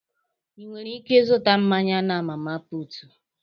Inwere ike ịzụta mmanya na Mama puutu.